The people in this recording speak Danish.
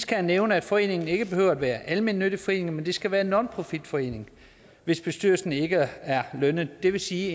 kan nævne at foreningen ikke behøver at være en almennyttig forening men det skal være en nonprofitforening hvis bestyrelse ikke er lønnet det vil sige